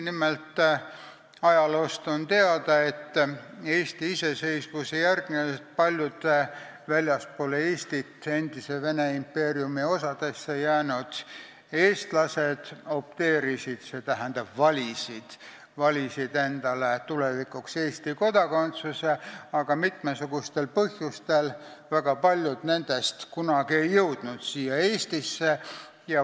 Nimelt, ajaloost on teada, et Eesti iseseisvumise järel paljud väljapoole Eestit, endise Vene impeeriumi osadesse jäänud eestlased opteerusid, st valisid endale tulevikuks Eesti kodakondsuse, aga väga paljud nendest mitmesugustel põhjustel Eestisse kunagi ei jõudnud.